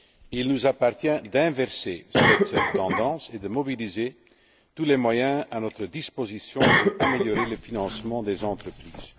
Il nous appartient d'inverser cette tendance et de mobiliser tous les moyens à notre disposition pour améliorer le financement des entreprises.